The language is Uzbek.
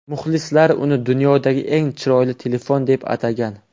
Muxlislar uni dunyodagi eng chiroyli telefon deb atagan.